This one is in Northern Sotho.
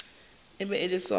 e be e le sona